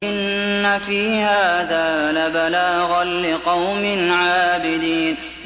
إِنَّ فِي هَٰذَا لَبَلَاغًا لِّقَوْمٍ عَابِدِينَ